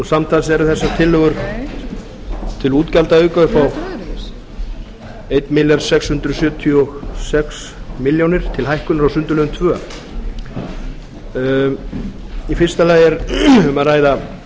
samtals eru þessar tillögur til útgjaldaauka upp á einn milljarð sex hundruð áttatíu og sex milljónir til hækkunar á sundurliðun annars í fyrsta lagi er um að ræða